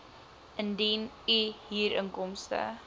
indien u huurinkomste